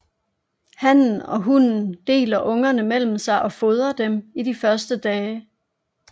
Hannen og hunnen deler ungerne mellem sig og fodrer dem i de første dage